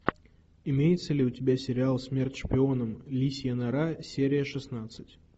имеется ли у тебя сериал смерть шпионам лисья нора серия шестнадцать